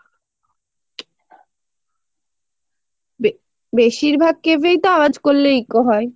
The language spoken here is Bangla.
বে~বেশিরভাগ cave এই তো আওয়াজ করলে eco হয়